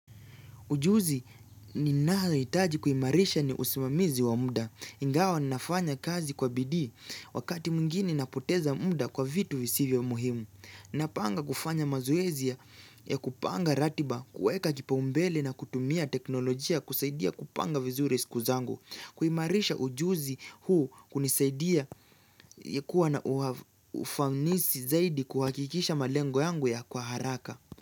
Ujuzi ninayohitaji kuimarisha ni usimamizi wa muda. Ingawa ninafanya kazi kwa bidii, wakati mwingine napoteza muda kwa vitu visivyo muhimu. Napanga kufanya mazoezi ya kupanga ratiba, kuweka kipaumbele na kutumia teknolojia kusaidia kupanga vizuri siku zangu. Kuimarisha ujuzi huu hunisaidia kuwa na ufanisi zaidi kuhakikisha malengo yangu ya kwa haraka.